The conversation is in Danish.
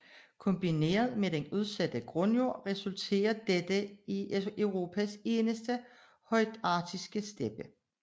Kombineret med den udsatte grundjord resulterer dette i Europas eneste højarktiske steppe